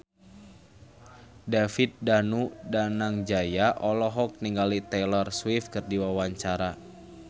David Danu Danangjaya olohok ningali Taylor Swift keur diwawancara